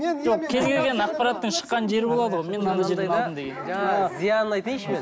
жоқ кез келген ақпараттың шыққан жері болады ғой мен мына жерден алдым деген жаңа зиянын айтайыншы мен